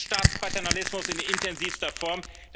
Es ist Staatspaternalismus in intensivster Form.